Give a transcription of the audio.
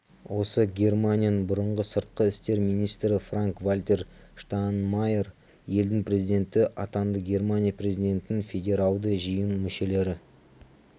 осы германияның бұрынғы сыртқы істер министрі франк-вальтер штайнмайер елдің президенті атанды германия президентін федералды жиын мүшелері